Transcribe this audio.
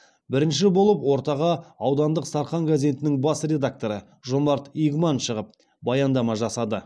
бірінші болып ортаға аудандық сарқан газетінің бас редакторы жомарт игман шығып баяндама жасады